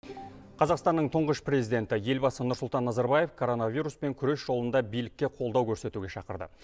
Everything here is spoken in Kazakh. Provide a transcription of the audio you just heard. қазақстанның тұңғыш президенті елбасы нұрсұлтан назарбаев коронавируспен күрес жолында билікке қолдау көрсетуге шақырды